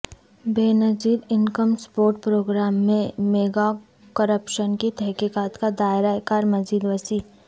بے نظیر income support programme میں mega corruption کی تحقیقات کا دائرہ کار مزید وسیع